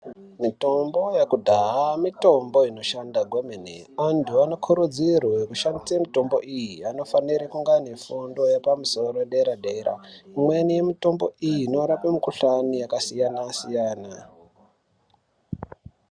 Mitombo yekudhaya mitombo inoshanda kwemene antu anokurudzirwe kushandise mitombo iyi anofanire kunga aine fundo yepamusoro yedera dera imweni, mitombo iyi inorape mukhuhlane yakasiyana siyana.